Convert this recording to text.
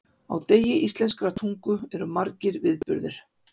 Á degi íslenskrar tungu eru margir viðburðir.